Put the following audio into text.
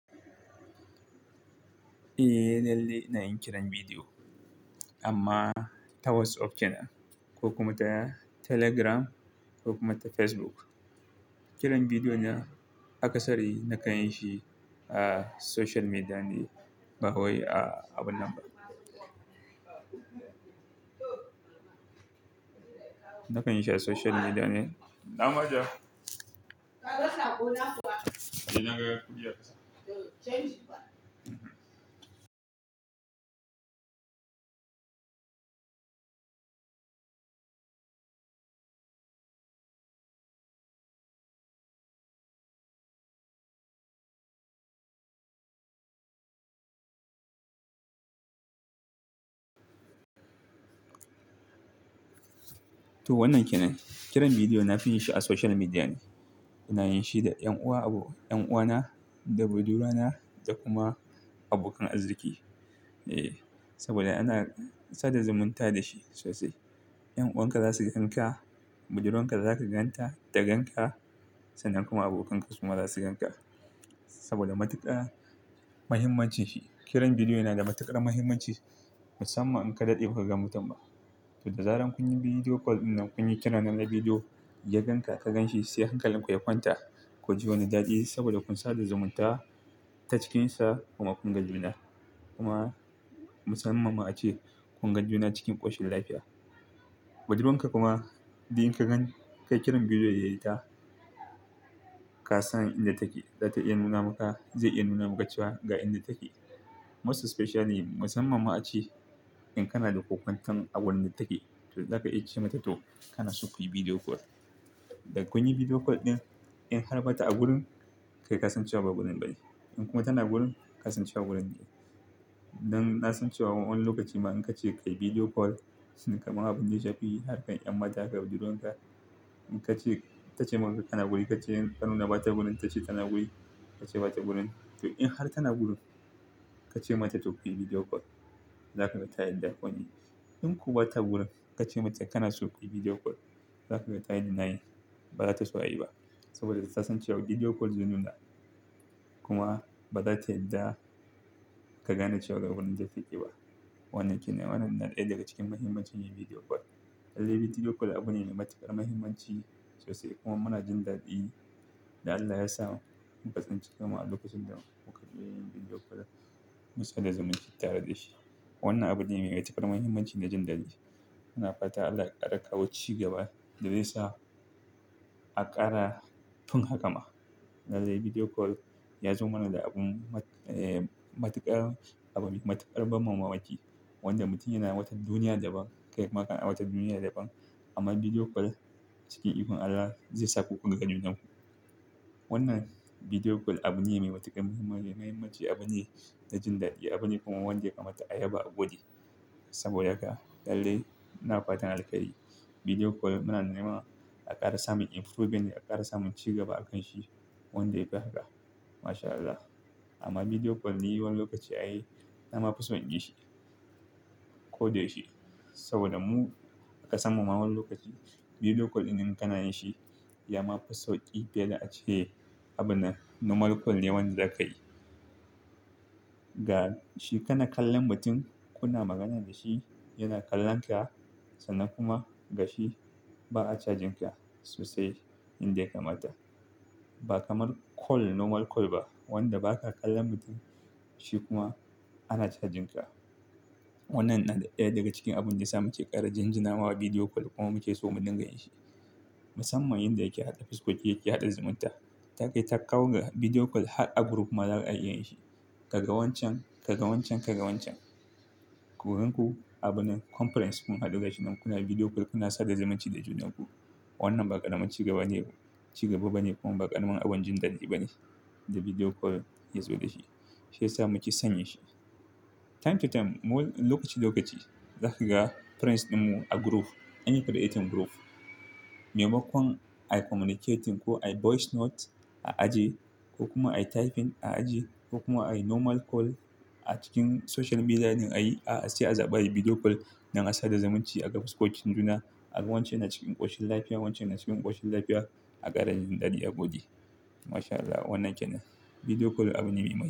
Eh, lalle na yi kiran bidiyo amma ta WhatsApp kenan ko kuma ta Telegram ko kuma ta Facebook. Kiran bidiyo na haka sari na kan yi shi a social media ne, ba wai a abin nan ba. Na kan yi shi a social media ne. To wannan kenan, kiran bidiyo na fi yin shi a social media ne. Na yin shi da 'yan uwa abu, 'yan uwana da budurwana da kuma abokan arziki. Eh, saboda ana sada zumunta da shi sosai. 'Yan'uwanka za su gan ka, budurwanka za ka gan ta ta gan ka sannan kuma abokanka kuma za su gan ka saboda matuƙar muhimmancin shi. Kiran bidiyo yana da matuƙar muhimmanci musamman in ka daɗe ba ka ga mutum ba. To da zarar kun yi video call dinnan kun yi kira nan da video, ya gan ka ka gan shi sai hankalinku ya kwanta ku ji wani daɗi saboda kun sada zumunta ta cikinsa kuma kun gan juna. Kuma musamman ma a ce kun gan juna cikin ƙoshin lafiya. Budurwanka kuma, idan ka gan kayi kiran bidiyo da ita, ka san inda take. Za ta iya nuna maka, zai iya nuna maka cewa ga inda take. Most especially musamman ma a ce in kana da ƙoƙon tan a wurin da take. To za ka iya ce mata to kana so kuyi video call. Da kun yi video call din in har bata a gurin, kai ka san cewa ba gurin ba ne. In kuma tana gurin, ka san cewa gurin yake. Nan na san cewa wani lokaci ma in ka ce kai video call shine kamar abin da ya fi yi har kai 'yan mata da budurwanka in ka ce ta ce maka kana guri ka ce in ta nuna bata gurin ta ce tana guri ka ce bata gurin. To in har tana gurin, ka ce mata to kuyi video call. Za ka ga ta yadda koni. In kuma bata gurin, ka ce mata kana so kuyi video call. Za ka gan tayi denying. Ba za ta so ayi ba saboda ta san cewa video call zai nuna. Kuma ba za ta yadda ka gane cewa ba gurin da take ba. Wannan kenan, wannan na ɗaya daga cikin mahimmancin yin video call. Lallai video call abu ne mai matuƙar mahimmanci, sosai kuma muna jin daɗi da Allah ya sa mu ka tsinki kan mu a lokacin da muka iya yin video call, musanda zumunci tare da shi. Wannan abu ne mai matuƙar mahimmanci na jin daɗi. Muna fata Allah ya ƙara kawo ci gaba da zai sa a ƙara tun haka ma. Lallai video call, ya zo mana da abun, matuƙar, abin matuƙar ban mamaki, wanda mutum yana wata duniya da ban, kai kuma kana wata duniya daban, amma video call, cikin ikon Allah zai sa ku ka ga junanku. Wannan video call, abu ne mai matuƙar mahimmanci. Mahimmanci, abu ne na jin daɗi. Abu ne kuma wanda ya kamata a yaba a gode, saboda haka, lallai ina fatan alkhairi, video call. Muna nema a ƙara samun improving da ƙara samun cigaba a kan shi. Wanda yafi haka. MashAllah. Amma video call ni wani lokaci ai na ma fison inyi shi, ko da yaushe, saboda mu a ka san mu ma wani lokaci video call ɗin idan kana yin shi, ya ma fi sauƙi fiye da a ce, abunnan, normal call ne wanda za ka yi. Ga shi kana kallon mutum, kuna magana da shi, yana kallon ka, sannan kuma ga shi ba'a cajin ka, sosai, yanda ya kamata. Ba kamar call, normal call ba, wanda baka kallon mutum, shi kuma ana cajin ka. Wannan na ɗaya daga cikin abun da ya sa muke ƙara jin jinawa video call kuma muke so mu dinga yin shi. Musamman yinda yake haɗa fuskoki yake haɗa zumunta. Ta kai ta kawo har video call har a group ma za'a iya yin shi. Ka ga wancan, ka ga wancan, ka ga wancan. Ku gan ku, abunnan, conference kun haɗu ga shi nan kuna video call kuna sada zumunci da junanku. Wannan ba ƙaramun cigaba ne ba, cigaba ba ne, kuma ba ƙaramin abun jin daɗi ba ne, da video call ya zo da shi. Shi ya sa muke san yinshi. Time to time, wani lokaci-lokaci, za ka ga friends ɗinmu a group. Anyi creating group. Maimakon ai communicating, ko ai voice note, a aje, ko kuma ayi typing a aje, ko kuma ai normal call, a cikin social media din ayi, a'a sai a zaɓa ayi video call, dan a sada zumunci a ga fuskokin juna. Aga wancan yana cikin ƙoshin lafiya, wancan yana cikin ƙoshin lafiya, a ƙara jin daɗi a gode. MashAllah wannan kenan. Video call abu ne mai mahimmanci.